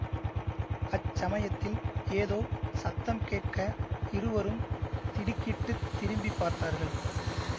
அச்சமயத்தில் ஏதோ சத்தம் கேட்க இருவரும் திடுக்கிட்டுத் திரும்பி பார்த்தார்கள்